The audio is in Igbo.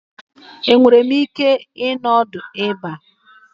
Enwere m ike ịnọ ọdụ ebe a?